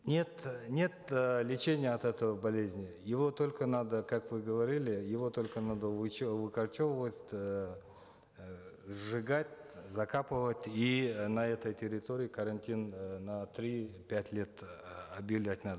нет нет э лечения от этой болезни его только надо как вы говорили его только надо выкорчевывать эээ сжигать закапывать и э на этой территории карантин э на три пять лет э объявлять надо